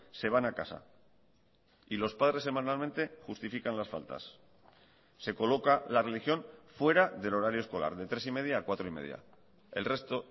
se van a casa y los padres semanalmente justifican las faltas se coloca la religión fuera del horario escolar de tres y media a cuatro y media el resto